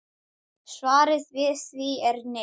Svarið við því er nei.